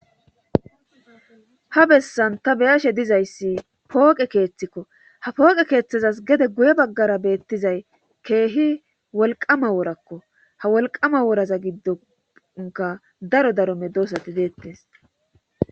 ha bessan ta beyashe dizayssi pooqe keeththikko ha pooqe keeththazas gede guye baggara beettizay keehi wolqama woorakko ha wolqama wooraza giddonka daro daromme doosati deettes